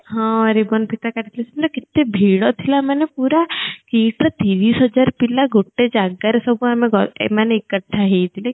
ହଁ ribbon ଫିତା କାଟି ଥିଲେ ସେ ଦିନ କେତେ ଭିଡ ଥିଲା ମାନେ ପୁରା KIIT ର ତିରିଶ ହଜ଼ାର ପିଲା ଗୋଟେ ଜାଗା ରେ ସବୁ ଆମେ ଗ ଏ ମାନେ ଏକଠା ହେଇଥିଲେ